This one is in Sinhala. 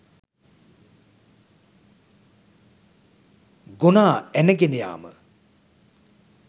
ගොනා ඇන ගෙන යාම.